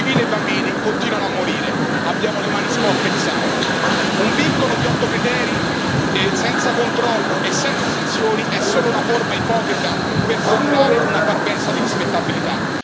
civili e bambini continuano a morire abbiamo le mani sporche di sangue. Un vincolo di otto criteri senza controllo e senza sanzioni è solo una forma ipocrita per simulare una parvenza di rispettabilità.